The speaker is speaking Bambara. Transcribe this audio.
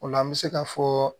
O la an bɛ se ka fɔ